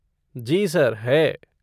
जी sir है।